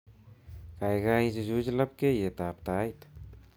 Kaikai ichuch labkyetab tait